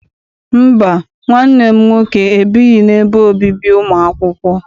Mba, nwanne m nwoke ebighị n'ebe obibi ụmụ akwụkwọ.